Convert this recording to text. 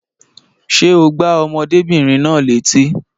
Ṣé o gbá ọmọdébìnrin náà létí?